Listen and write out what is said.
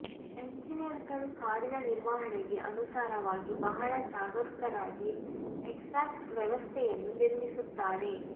ಎಂಜಿನಿಯರ್ಗಳು ಕಾರಿನ ನಿರ್ವಹಣೆಗೆ ಅನುಸಾರವಾಗಿ ಬಹಳ ಜಾಗರೂಕರಾಗಿ ಎಕ್ಸಾಸ್ಟ್ ವ್ಯವಸ್ಥೆಯನ್ನು ನಿರ್ಮಿಸುತ್ತಾರೆ